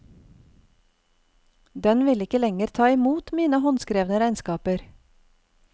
Den vil ikke lenger ta imot mine håndskrevne regnskaper.